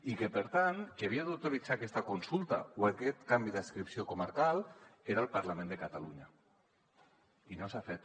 i per tant qui havia d’autoritzar aquesta consulta o aquest canvi d’adscripció comarcal era el parlament de catalunya i no s’ha fet